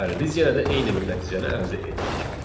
Bəli, biz yenə də eyni bir nəticəni əldə etdik.